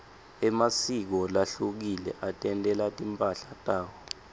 emasiko lahlukile atentela timphahla tawo